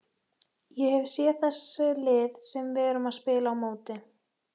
Ég hef séð þessi lið sem við erum að spila á móti.